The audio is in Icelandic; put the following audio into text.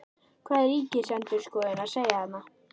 Hvað er Ríkisendurskoðun að segja þarna?